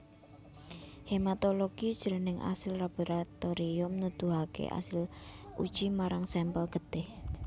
Hematologi jroning asil laboratorium nuduhaké asil uji marang sampel getih